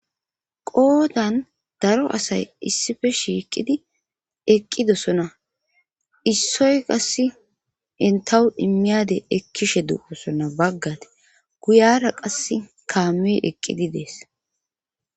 qoodan daro asay issife shiiqidi eqqidosona issoy qass entahu immiyade ekkishe duosona baggate guyara qas kaamiyoy eqqidi dees